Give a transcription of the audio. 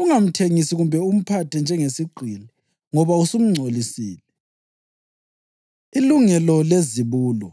Ungamthengisi kumbe umphathe njengesigqili, ngoba usumngcolisile.” Ilungelo Lezibulo